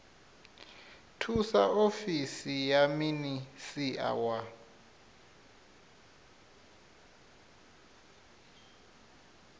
thusa ofisi ya minisia wa